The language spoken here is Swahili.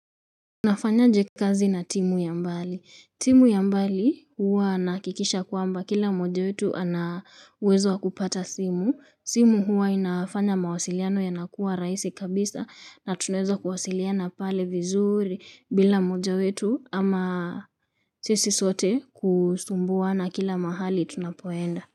Unafanya aje kazi na timu ya mbali. Timu ya mbali huwa nahakikisha kwamba kila mmoja wetu ana uwezo wa kupata simu. Simu huwa inafanya mawasiliano yanakuwa rahisi kabisa na tunaweza kuwasiliana pale vizuri bila moja wetu ama sisi sote kusumbuana kila mahali tunapo enda.